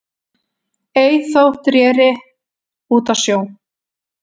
Ei þótt reri út á sjó